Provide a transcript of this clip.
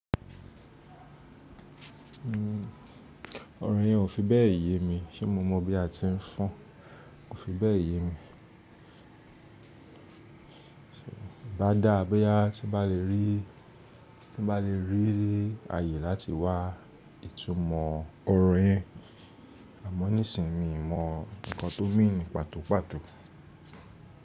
Ọrọ yẹn ò fi bẹ́ẹ̀ ye mi ṣe mo mọ̀ bí a ti ń fọn. Ó fi bẹ́ẹ̀ ye mi. Bá dà á bí à tí bá le rí, tí bá le rí ààyè láti wá ìtumọ̀ orin, àmọ́ nísìínyi mọ̀ nǹkan tó mí ni pàtó pàtó.